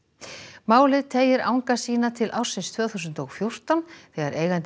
málið teygir anga sína til ársins tvö þúsund og fjórtán þegar eigandi